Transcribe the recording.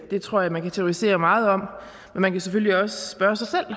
det tror jeg man kan teoretisere meget over og man kan selvfølgelig også spørge sig selv